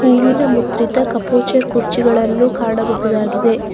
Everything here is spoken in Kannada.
ಹೂವಿನ ಮುದ್ರಿತಾ ಕಪೋಚರ್ ಕುರ್ಚಿಗಳನ್ನು ಕಾಣಬಹುದಾಗಿದೆ.